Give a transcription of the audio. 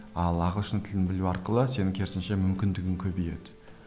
ал ағылшын тілін білу арқылы сенің керісінше мүмкіндігің көбейеді